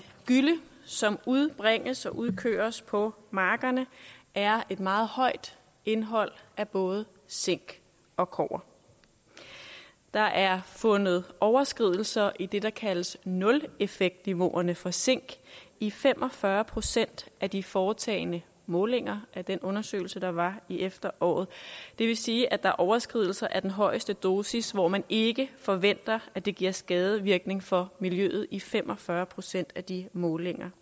gylle som udbringes og udkøres på markerne er et meget højt indhold af både zink og kobber der er fundet overskridelser i det der kaldes nuleffektniveauerne for zink i fem og fyrre procent af de foretagne målinger i den undersøgelse der var i efteråret det vil sige at der er overskridelser af den højeste dosis hvor man ikke forventer at det giver skadevirkninger for miljøet i fem og fyrre procent af de målinger